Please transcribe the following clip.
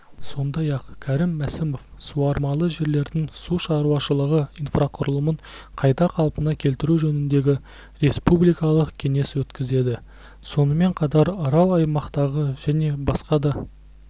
сондай-ақ кәрім мәсімов суармалы жерлердің сушаруашылығы инфрақұрылымын қайта қалпына келтіру жөнінде республикалық кеңес өткізеді сонымен қатар арал аймақтағы және басқа да